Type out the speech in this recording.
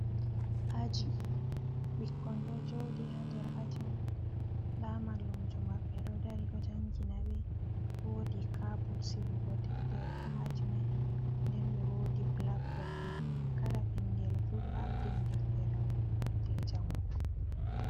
Aji, bikkon ɗo jooɗi haa nder aji man. Nda mamallumjo maɓɓe ɗo dari, ɗo jangina ɓe. Woodi kabot sigugo deftere haa aji mai, nden be woodi blak bod bo. Kala ɓingel fu ɗo ardini deftere mum jei jangugo.